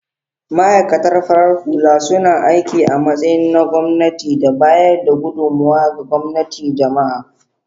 Ma'aikatan farar hula suna aiki a matsayi na gwamnati da bayar da gudummawa ga gwamnatin jama'a.